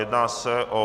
Jedná se o